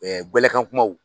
gɛlɛkan kumaw